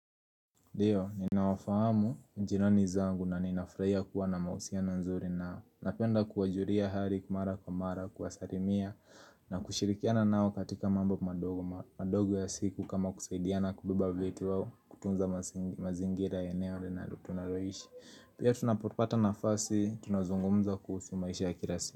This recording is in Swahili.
Ndio, ninawafahamu jirani zangu na ninafurahia kuwa na mahusiano nzuri nao Napenda kuwajulia hali mara kwa mara, kuwasalimia na kushirikiana nao katika mambo madogo madogo ya siku kama kusaidiana kubeba vitu wao kutunza mazingira eneo linalo tunaloishi Pia tunapopata nafasi, tunazungumza kuhusu maisha ya kila siku.